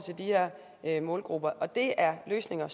de her målgrupper det er løsninger